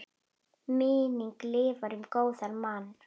Minning lifir um góðan mann.